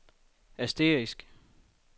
asterisk